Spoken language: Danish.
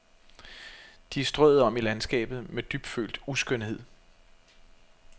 De er strøet om i landskabet med dybfølt uskønhed.